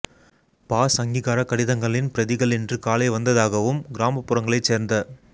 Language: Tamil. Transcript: பாஸ் அங்கீகாரக் கடிதங்களின் பிரதிகள் இன்று காலை வந்தததாகவும் கிராமப்புறங்களைச் சேர்ந்த